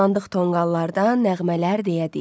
Tullandıq tonqallardan nəğmələr deyə-deyə.